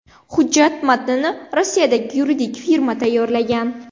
Hujjat matnini Rossiyadagi yuridik firma tayyorlagan.